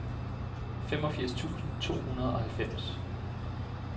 femogfirs tusind to hundrede og halvfems